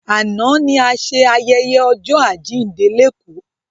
Àná ni a ṣe ayẹyẹ ọjọ́ àjíǹde lékòó